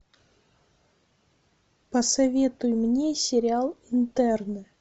посоветуй мне сериал интерны